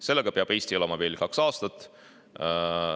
Sellega peab Eesti elama veel kaks aastat.